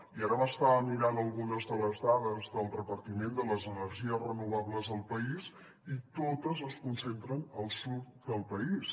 i ara m’estava mirant algunes de les dades del repartiment de les energies renovables al país i totes es concentren al sud del país